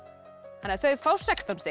þannig að þau fá sextán stig